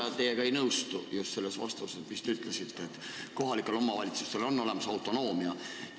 Ma teiega ei nõustu, just selle vastusega, kus te ütlesite, et kohalikel omavalitsustel on autonoomia.